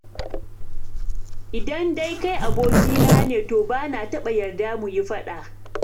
Idan dai kai abokina ne to bana taɓa yarda mu yi faɗa.